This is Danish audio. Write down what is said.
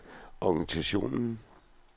organisationen